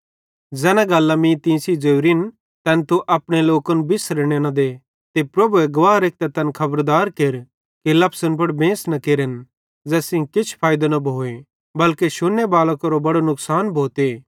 ज़ैना गल्लां मीं तीं सेइं ज़ोरिन तैन तू अपने लोकन बिसरने न दे ते प्रभुए गवाह रेखतां तैन खबरदार केर कि लफसन पुड़ बेंस न केरन ज़ैस सेइं किछ फैइदो न भोए बल्के शुन्ने बालां केरो बड़ो नुकसान भोते